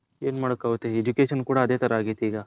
N ಮಾಡಕ್ ಆಗುತ್ತೆ education ಕೂಡ ಅದೇ ತರ ಆಗೈತೆ ಈಗ .